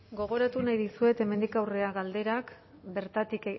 gogoratu nahi dizuet hemendik aurrera galderak bertatik